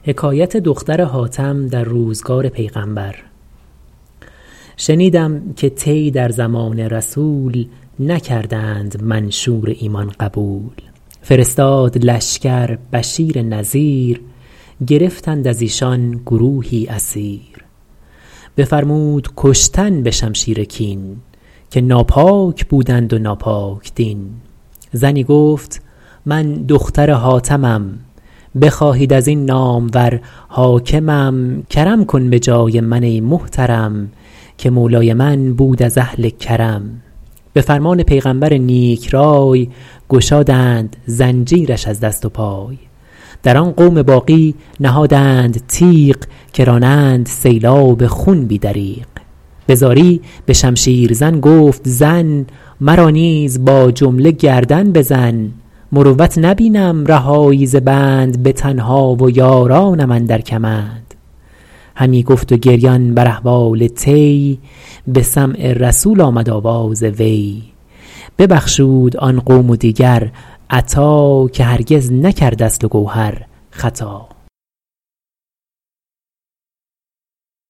شنیدم که طی در زمان رسول نکردند منشور ایمان قبول فرستاد لشکر بشیر نذیر گرفتند از ایشان گروهی اسیر بفرمود کشتن به شمشیر کین که ناپاک بودند و ناپاک دین زنی گفت من دختر حاتمم بخواهید از این نامور حاکمم کرم کن به جای من ای محترم که مولای من بود از اهل کرم به فرمان پیغمبر نیک رای گشادند زنجیرش از دست و پای در آن قوم باقی نهادند تیغ که رانند سیلاب خون بی دریغ به زاری به شمشیر زن گفت زن مرا نیز با جمله گردن بزن مروت نبینم رهایی ز بند به تنها و یارانم اندر کمند همی گفت و گریان بر احوال طی به سمع رسول آمد آواز وی ببخشود آن قوم و دیگر عطا که هرگز نکرد اصل و گوهر خطا